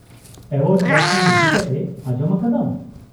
-Word ᱵᱟᱪᱷᱱᱟᱣ ᱤᱫᱤᱠᱟᱛᱮ ᱟᱡᱚᱢ ᱟᱠᱟᱫᱟᱢ ?